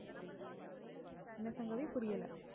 என்ன சங்கவி புரியல?